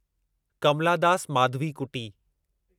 Kamla Das Madhavikutty